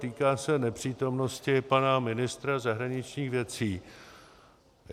Týká se nepřítomnosti pana ministra zahraničních věcí.